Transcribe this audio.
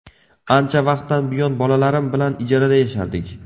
Ancha vaqtdan buyon bolalarim bilan ijarada yashardik.